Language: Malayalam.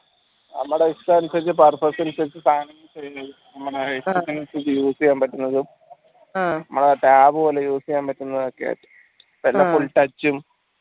നമ്മടെ ഇഷ്ടാനുസരിച്ച് purpose അനുസരിച്ച് use ചെയ്യാൻ പറ്റുന്നതും നമ്മടെ tab പോലെ use ചെയ്യാൻ പറ്റുന്നതു ഒക്കെ കാരണം full touch ഉം